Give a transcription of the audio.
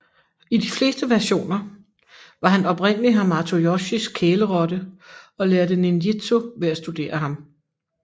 I de fleste versioner var han oprindelige Hamato Yoshis kælerotte og lærte ninjitsu ved at studere ham